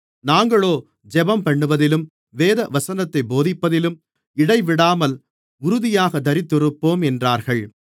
நாங்களோ ஜெபம்பண்ணுவதிலும் தேவவசனத்தைப் போதிப்பதிலும் இடைவிடாமல் உறுதியாகத் தரித்திருப்போம் என்றார்கள்